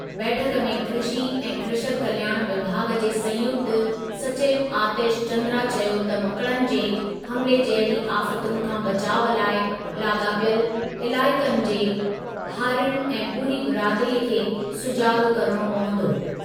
बैठक में कृषी ऐं कृषक कल्याण विभाॻु जे संयुक्त सचिव आतिश चन्द्रा चयो त मकिड़नि जे हमिले जहिड़ी आफ़तुनि खां बचाउ लाइ लाॻापियल इलाइक़नि जे हारियुनि ऐं पूरी बिरादरीअ खे सुजाॻ करणो पवंदो।